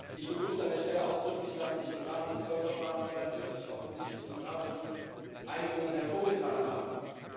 Ich begrüße an der Stelle ausdrücklich, dass sich im Rahmen des Zollverfahrens 42 offensichtlich im Rat schon Einigungen abzeichnen.